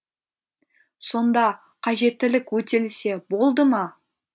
сонда қажеттілік өтелсе болды ма